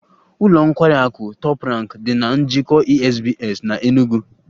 Ụlọ nkwari akụ Top Rank dị na Njikọ Esbs na Enugu